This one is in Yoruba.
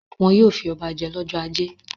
Wọn yóò fi ọba jẹ lọ́jọ́ ajé.